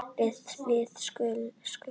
Og við sukkum.